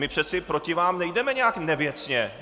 My přece proti vám nejdeme nijak nevěcně.